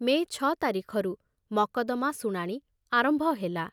ମେ ଛ ତାରିଖରୁ ମକଦ୍ଦମା ଶୁଣାଣି ଆରମ୍ଭ ହେଲା।